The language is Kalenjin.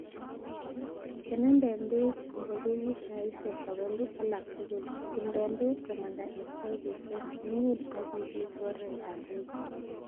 Kenenden beek ingobekuk saisiek sogolu alak tuguk, tumden beek komanda en baibusiek, iun ak ibit oretab beek.